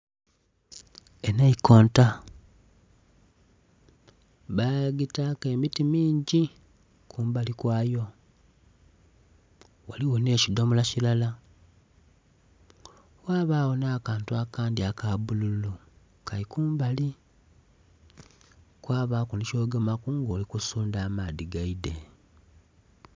Enhaikota bagitaku emiti mingi kumbali kwayo ghaligho nhe kidhomolo kilala ghabago nha kantu akandi aka bululu Kali kumbali, kwabaku nhi kyogemaku nga oli kusundha amaadhi geidhe.